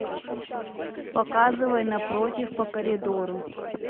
показывай напротив по коридору